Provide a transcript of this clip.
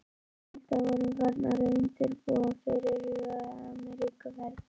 Við Hulda vorum farnar að undirbúa fyrirhugaða Ameríkuferð.